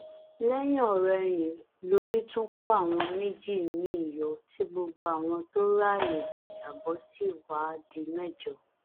lẹyìnọrẹyìn lórí tún kó àwọn méjì miín yọ tí gbogbo àwọn tó ráàyè jájábọ sì wáá di mẹjọ